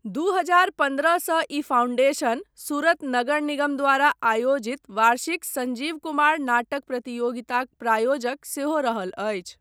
दू हजार पन्द्रह सँ ई फाउंडेशन सूरत नगर निगम द्वारा आयोजित वार्षिक संजीव कुमार नाटक प्रतियोगिताक प्रायोजक सेहो रहल अछि।